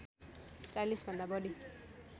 ४० भन्दा बढी